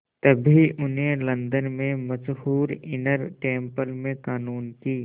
तभी उन्हें लंदन के मशहूर इनर टेम्पल में क़ानून की